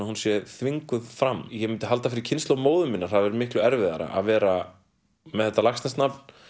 hún sé þvinguð fram ég myndi halda að fyrir kynslóð móður minnar hafi verið miklu erfiðara að vera með þetta Laxness nafn